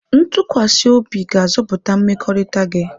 Ntụkwasị obi ga-azọpụta mmekọrịta gị.